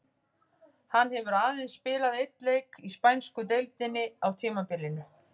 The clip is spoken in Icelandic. Hann hefur aðeins spilað einn leik í spænsku deildinni á tímabilinu.